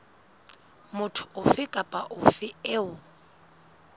motho ofe kapa ofe eo